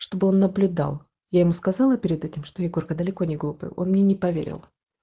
чтобы он наблюдал я ему сказала перед этим что егорка далеко не глупый он мне не поверил